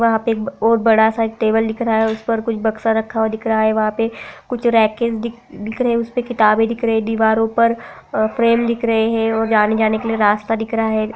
वहाँ पे एक और बड़ा सा टेबल दिख रहा है उसपर कुछ बक्सा रखा हुआ दिख रहा है वहाँ पे कुछ रेके दिख- दिख रहे है उसपे किताबे दिख रही दीवारों पर फ्रेम दिख रहे है और आने जाने के लिए रास्ता दिख रहा है।